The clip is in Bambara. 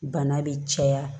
Bana bɛ caya